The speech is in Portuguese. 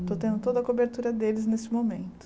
Estou tendo toda a cobertura deles nesse momento.